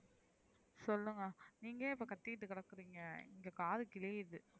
சொல்லுங்க நீங்க ஏன் இப்ப கத்திட்டு கெடக்குரிங்க இங்க காது கிளியிது,